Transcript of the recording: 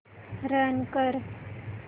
run कर